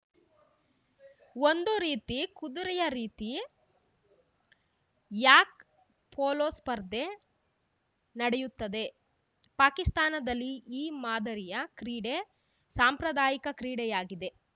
ಒಂದು ರೀತಿ ಕುದುರೆಯ ರೀತಿ ಯಾಕ್ ಪೋಲೋ ಸ್ಪರ್ಧೆ ನಡೆಯುತ್ತದೆ ಪಾಕಿಸ್ತಾನದಲ್ಲಿ ಈ ಮಾದರಿಯ ಕ್ರೀಡೆ ಸಾಂಪ್ರದಾಯಿಕ ಕ್ರೀಡೆಯಾಗಿದೆ